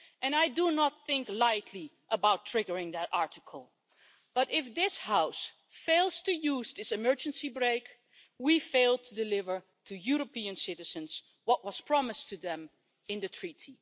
I do not think lightly about triggering that Article, but if this House fails to use this emergency brake, we fail to deliver to European citizens what was promised to them in the Treaty.